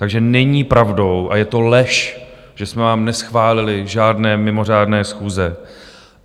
Takže není pravdou a je to lež, že jsme vám neschválili žádné mimořádné schůze.